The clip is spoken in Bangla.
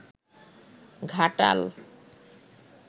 ঘাটাল